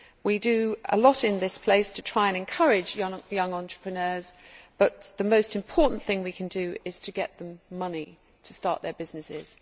We do a lot in this place to try to encourage young entrepreneurs, but the most important thing we can do is to get them money to start their businesses.